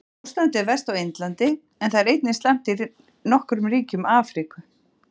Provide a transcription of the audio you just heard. Ástandið er verst á Indlandi en það er einnig slæmt í nokkrum ríkjum í Afríku.